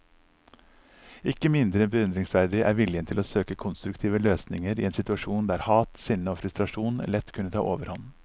Ikke mindre beundringsverdig er viljen til å søke konstruktive løsninger i en situasjon der hat, sinne og frustrasjon lett kunne ta overhånd.